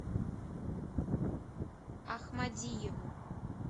ахмадиеву